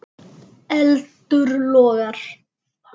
Eldur logar.